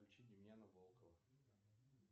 включи демьяна волкова